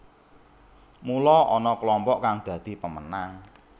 Mula ana klompok kang dadi pemenang